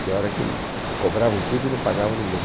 Pior é que isso, cobravam tudo e não pagavam ninguém.